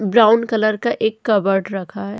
Brown colour का एक कबड रखा है।